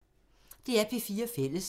DR P4 Fælles